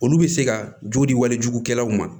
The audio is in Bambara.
Olu bɛ se ka joli walijugu kɛlaw ma